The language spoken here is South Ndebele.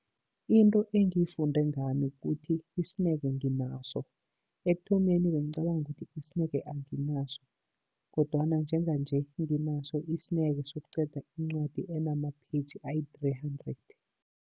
Into engiyifunde ngami kukuthi isineke nginaso. Ekuthomeni bengicabanga ukuthi isineke anginaso, kodwana njenganje nginaso isineke sokuqeda incwadi enama page ayi-three hundred.